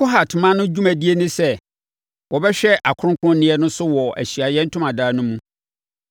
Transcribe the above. “Kohat mma no dwumadie ne sɛ wɔbɛhwɛ akronkronneɛ no so wɔ Ahyiaeɛ Ntomadan no mu.